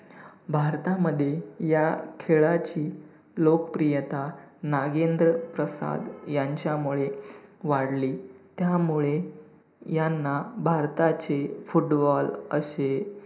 भारतामध्ये या खेळाची लोकप्रियता 'नागेंद्र प्रसाद' यांचा मुळे वाढली. त्यामुळे ह्यांना भारताचे football असे